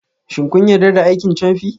Shin kun yarda da aikin camfi?